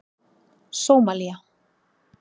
Sómalía